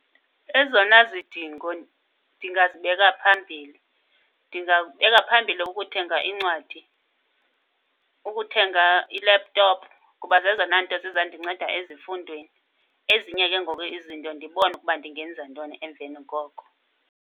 Ezona zidingo ndingazibeka phambili, ndizawubeka phambili ukuthenga iincwadi, ukuthenga i-laptop kuba zezona nto zizandinceda ezifundweni. Ezinye ke ngoku izinto ndibone ukuba ndingenza ntoni emveni koko.